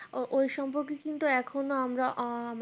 ওই সম্পর্কে কিন্তু এখনো আমরা ও